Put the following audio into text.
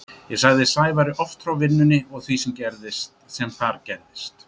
Ég sagði Sævari oft frá vinnunni og því sem þar gerðist.